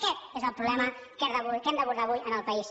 aquest és el problema que hem d’abordar avui en el país